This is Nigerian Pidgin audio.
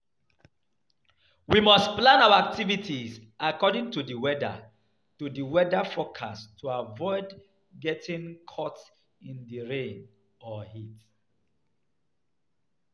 We must plan our activities according to di weather to di weather forecast to aviod getting caught in di rain or heat.